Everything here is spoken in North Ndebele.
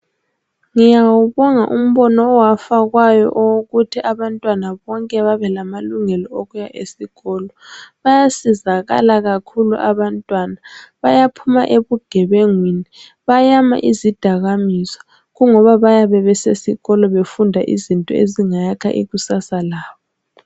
Ngiwawubonga umbono owafakwayo owokuthi abantwana bonke babe lamalungelo okuya esikolo. Bayasizakala kakhulu abantwana. Bayaphuma ebugebengwini, bayala izidakamizwa ngoba bayabe besesikolo befunda izinto ezingayakha ikusasa labo.